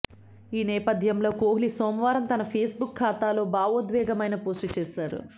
ఈ నేపథ్యంలో కోహ్లీ సోమవారం తన ఫేస్బుక్ ఖాతాలో భావోద్వేగమైన పోస్టు చేశాడు